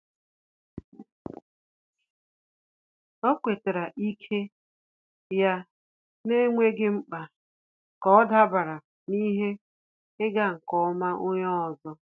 Ọ́ kwétárà ike ya n’énwéghị́ mkpa kà ọ́ dàbàrà na ihe ịga nke ọma onye ọzọ.